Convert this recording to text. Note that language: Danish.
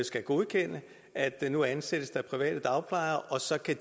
skal godkende at nu ansættes der private dagplejere og så kan